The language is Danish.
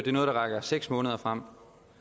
er noget der rækker seks måneder frem